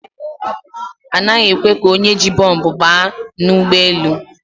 A passenger is not allowed to board the plane with bomb